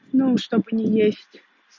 ну что бы не есть